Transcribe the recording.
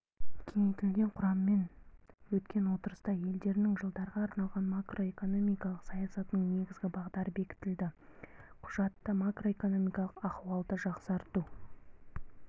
кеңейтілген құраммен өткен отырыста елдерінің жылдарға арналған макроэкономикалық саясатының негізгі бағдары бекітілді құжатта макроэкономикалық ахуалды жақсарту